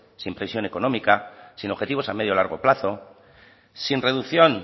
sin previsión económica sin objetivos a medio y largo plazo sin reducción